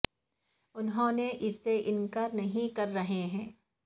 انہوں نے اس سے انکار نہیں کر رہے ہیں